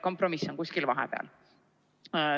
Kompromiss on kuskil vahepeal.